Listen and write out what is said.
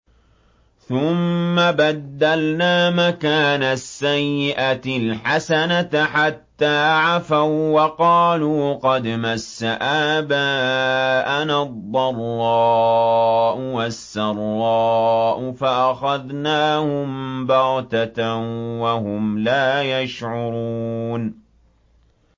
ثُمَّ بَدَّلْنَا مَكَانَ السَّيِّئَةِ الْحَسَنَةَ حَتَّىٰ عَفَوا وَّقَالُوا قَدْ مَسَّ آبَاءَنَا الضَّرَّاءُ وَالسَّرَّاءُ فَأَخَذْنَاهُم بَغْتَةً وَهُمْ لَا يَشْعُرُونَ